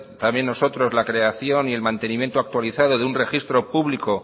también nosotros la creación y el mantenimiento actualizado de un registro público